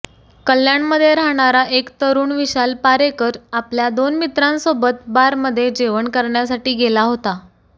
कल्याणमध्ये राहणारा एक तरुण विशाल पारेकर आपल्या दोन मित्रांसोबत बारमध्ये जेवण करण्यासाठी गेला होता